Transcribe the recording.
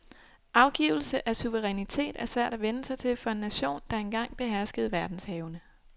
Afgivelse af suverænitet er svært at vænne sig til for en nation, der en gang beherskede verdenshavene.